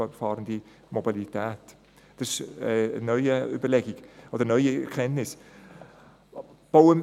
Das sind neue Überlegungen oder Erkenntnisse.